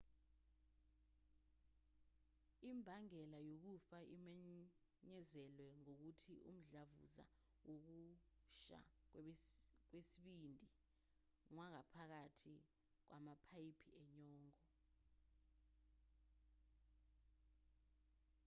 imbangela yokufa imenyezelwe ngokuthi umdlavuza wokusha kwesibindi kwangaphakathi kwamapayipi enyongo